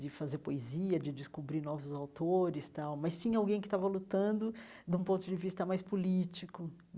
de fazer poesia, de descobrir novos autores tal, mas tinha alguém que estava lutando de um ponto de vista mais político.